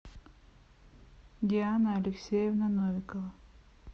диана алексеевна новикова